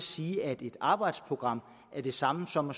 sige at et arbejdsprogram er det samme som